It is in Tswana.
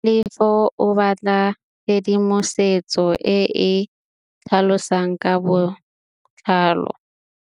Tlhalefô o batla tshedimosetsô e e tlhalosang ka botlalô.